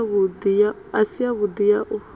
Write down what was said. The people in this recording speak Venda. i si yavhudi ya u